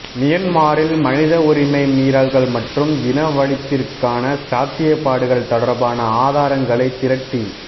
மியன்மாரில் மனிதவுரிமை மீறல்கள் மற்றும் இனவழிப்பிற்கான சாத்தியப்பாடுகள் தொடர்பான ஆதாரங்களை திரட்டி வ